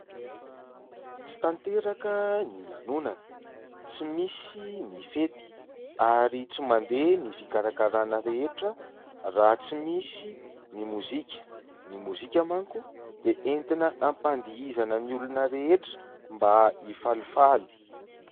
Tsy tanteraka ny lanonana, tsy misy ny fety ary tsy mandeha ny fikarakarana rehetra raha tsy misy ny mozika. Ny mozika manko dia entina hampadihizana ny olona rehetra mba hifalifaly.